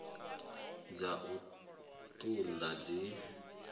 dza u ṱun ḓa dzi